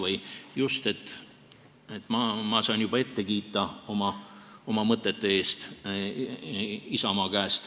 Ma sain oma mõtete eest juba ette Isamaa käest kiita.